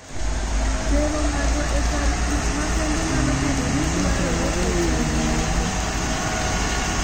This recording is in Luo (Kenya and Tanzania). Tero ng�ato e kar thieth makende nyalo bedo ni dwarore e chal moko.